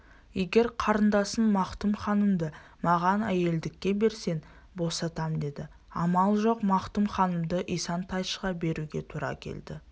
егер қарындасың мақтұм ханымды маған әйелдікке берсең босатамдеді амал жоқ мақтұм ханымды исан-тайшыға беруге тура келді